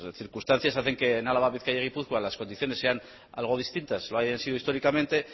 circunstancias hacen que álava bizkaia y gipuzkoa las condiciones sean algo distintas lo hayan sido históricamente